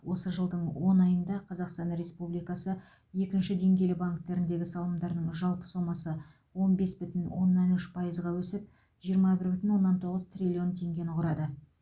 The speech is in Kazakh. осы жылдың он айында қазақстан республикасы екінші деңгейлі банктеріндегі салымдарының жалпы сомасы он бес бүтін оннан үш пайызға өсіп жиырма бір бүтін оннан тоғыз триллион теңгені құрады